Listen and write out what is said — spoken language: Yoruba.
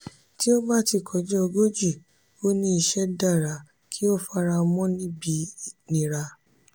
"ti o ba ti kọja ogoji o ni iṣẹ dara ki o faramọ nibi nira."